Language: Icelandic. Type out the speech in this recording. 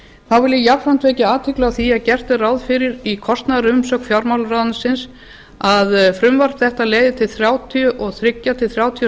ég jafnframt vekja athygli á því að gert er ráð fyrir í kostnaðarumsögn fjármálaráðuneytisins að frumvarp þetta leiði til þrjátíu og þrjú til þrjátíu og